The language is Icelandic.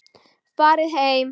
Farið heim!